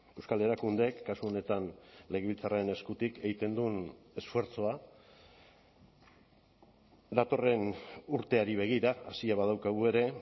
euskal erakundek kasu honetan legebiltzarraren eskutik egiten duen esfortzua datorren urteari begira hasia badaukagu ere